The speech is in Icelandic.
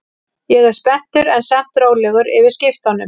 Ég er spenntur en samt rólegur yfir skiptunum.